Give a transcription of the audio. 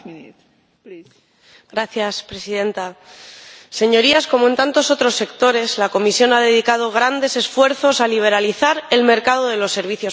Señora Presidenta, Señorías, como en tantos otros sectores, la Comisión ha dedicado grandes esfuerzos a liberalizar el mercado de los servicios postales.